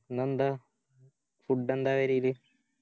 ഇന്നന്ത Food എന്താ പെരേല്